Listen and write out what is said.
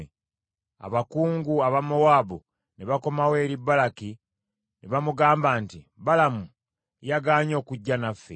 Abakungu aba Mowaabu ne bakomawo eri Balaki ne bamugamba nti, “Balamu yagaanye okujja naffe.”